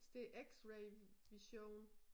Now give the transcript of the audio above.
Så det x-ray vision